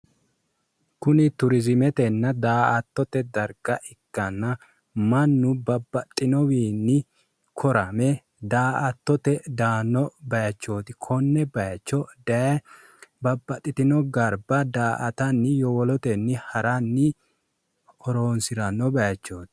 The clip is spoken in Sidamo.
Kunni tourismetenna daa'attote darga ikkanna Manu babbaxinowiinni korame daa'attote daano bayichooti konne bayicho daye babbaxitino garba daa'tanni yowollotenni haranni horoonsirano bayichooti.